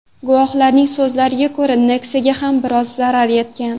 Guvohlarning so‘zlariga ko‘ra, Nexia’ga ham biroz zarar yetgan.